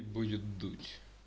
будет дуть